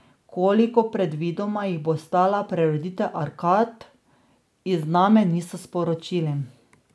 Koliko predvidoma jih bo stala preureditev arkad, iz Name niso sporočili.